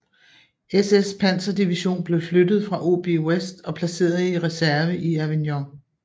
SS panserdivision blev flyttet fra OB West og placeret i reserve i Avignon